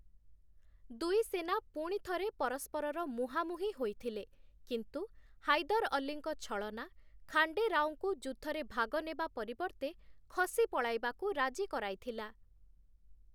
ଦୁଇ ସେନା ପୁଣିଥରେ ପରସ୍ପରର ମୁହାଁମୁହିଁ ହୋଇଥିଲେ, କିନ୍ତୁ ହାଇଦର୍‌ ଅଲ୍ଲୀଙ୍କ ଛଳନା, ଖାଣ୍ଡେ ରାଓଙ୍କୁ ଯୁଦ୍ଧରେ ଭାଗ ନେବା ପରିବର୍ତ୍ତେ ଖସି ପଳାଇବାକୁ ରାଜି କରାଇଥିଲା ।